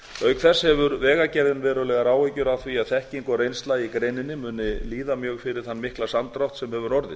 auk þess hefur vegagerðin verulegar áhyggjur af því að þekking og reynsla í greininni muni líða mjög fyrir þann mikla samdrátt sem hefur orðið